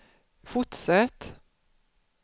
fortsätt